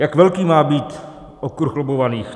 Jak velký má být okruh lobbovaných?